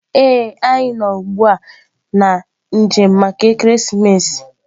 Ee, anyị nọ ugbu a na njem maka ekeresimesi.